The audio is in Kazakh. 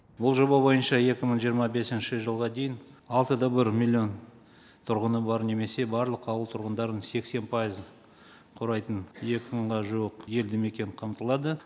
бұл жоба бойынша екі мың жиырма бесінші жылға дейін алты да бір миллион тұрғыны бар немесе барлық ауыл тұрғындарының сексен пайыз құрайтын екі мыңға жуық елді мекен қамтылады